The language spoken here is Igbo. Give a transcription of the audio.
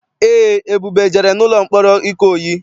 Eé, Ebube jere n'ụlọ mkpọrọ Ikoyi.